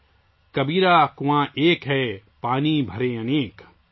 "کبیرا کنواں ایک ہے، پانی بھرے انیک